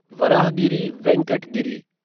Varahagiri Venkata Giri